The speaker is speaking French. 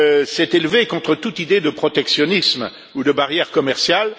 s'est élevé contre toute idée de protectionnisme ou de barrières commerciales.